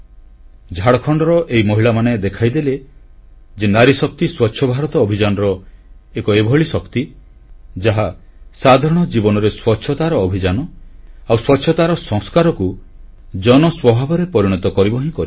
ଝାଡ଼ଖଣ୍ଡର ଏହି ମହିଳାମାନେ ଦେଖାଇଦେଲେ ଯେ ନାରୀଶକ୍ତି ସ୍ୱଚ୍ଛଭାରତ ଅଭିଯାନର ଏକ ଏଭଳି ଶକ୍ତି ଯାହା ସାଧାରଣ ଜୀବନରେ ସ୍ୱଚ୍ଛତାର ଅଭିଯାନ ଆଉ ସ୍ୱଚ୍ଛତାର ସଂସ୍କାରକୁ ଜନସ୍ୱଭାବରେ ପରିଣତ କରିବ ହିଁ କରିବ